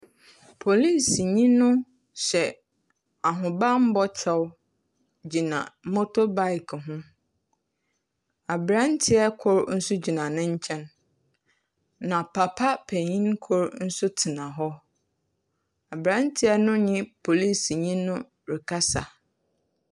Polisinyi no hyɛ ahobambɔ kyɛw gyina motobic ho. Aberantsɛ kor so gyina ne nkyɛn, na papa panyin kor so tsena hɔ. Aberantsɛ no nye polisinyi no rekasa.